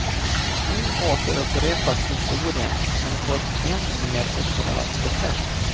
Nu återupprepas historien, men på ett än mer upprörande sätt.